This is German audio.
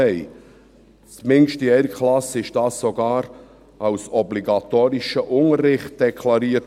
Zumindest in einer Klasse wurde dies sogar als obligatorischer Unterricht deklariert.